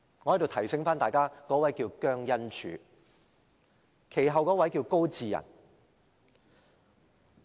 我在此提醒大家，那位是姜恩柱，其後一位是高祀仁。